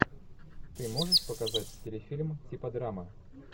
ты можешь показать телефильм типа драма